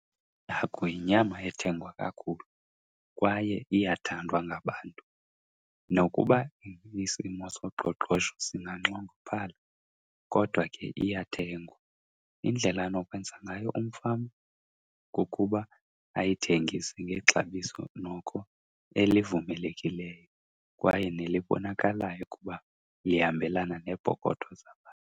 Ihagu yinyama ethengwa kakhulu kwaye iyathandwa ngabantu. Nokuba isimo soqoqosho singanxongophala kodwa ke iyathengwa. Indlela anokwenza ngayo umfama kukuba ayithengise ngexabiso noko elivumelekileyo kwaye nelibonakalayo ukuba lihambelana neepokotho zabantu.